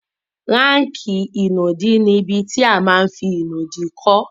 Ráàkì ìnùdí ní ibi tí a ma n fí ìnùdí kọ́